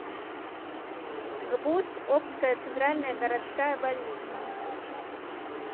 гбуз обская центральная городская больница